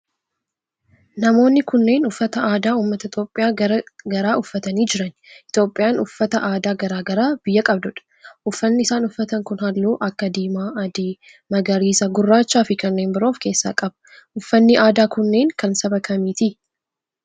namoonni kunneen uffata aadaa ummata Itiyoophiyaa garaa garaa uffatanii jiran. Itiyoophiyaa uffata aadaa garaa garaa biyya qabdudha. uffanni isaan uffatan kun halluu akka diimaa, adii, magariisa, gurraachaa fi kanneen biroo of keessaa qaba. uffanni aadaa kunneen kan saba kamiiti?